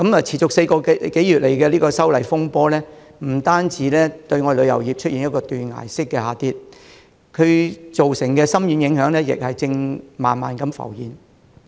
持續4個多月的修例風波，不但令旅遊業的業務出現斷崖式的下跌，更造成深遠影響。這些影響正慢慢地浮現。